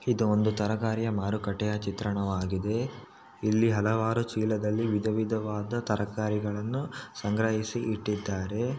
ಇದು ಒಂದು ತರಕಾರಿಯ ಮಾರುಕಟ್ಟೆಯ ಚಿತ್ರಣವಾಗಿದೆ ಇಲ್ಲಿ ಹಲವಾರು ಚೀಲದಲ್ಲಿ ವಿಧ ವಿಧವಾದ ತರಕಾರಿಗಳನ್ನು ಸಂಗ್ರಹಿಸಿ ಇಟ್ಟಿದ್ದಾರೆ.